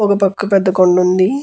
ఒక పక్క పెద్ద కొండ ఉంది.